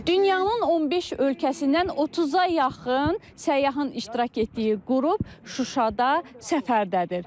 Dünyanın 15 ölkəsindən 30-a yaxın səyyahın iştirak etdiyi qrup Şuşada səfərdədir.